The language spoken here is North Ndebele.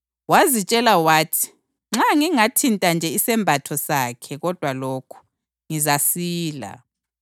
Wazitshela wathi, “Nxa ngingathinta nje isembatho sakhe kodwa lokhu, ngizasila.”